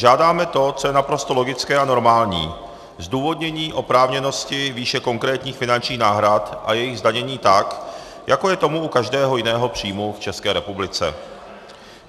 Žádáme to, co je naprosto logické a normální, zdůvodnění oprávněnosti výše konkrétních finančních náhrad a jejich zdanění tak, jako je tomu u každého jiného příjmu v České republice.